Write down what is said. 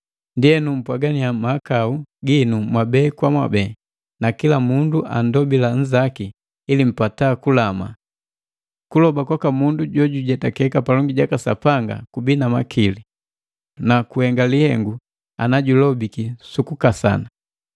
Ndienu, mpwagannya mahakau ginu mwabe kwa mwabe, na kila mundu andobila nzaki, ili mpata kulama. Kuloba kwaka mundu jwa jojujetakeka palongi jaka Sapanga kubii na makili na gahenga lihengu ana julobiki sukukasana.